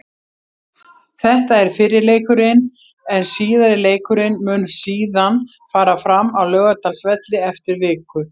Þetta er fyrri leikurinn en síðari leikurinn mun síðan fara fram á Laugardalsvelli eftir viku.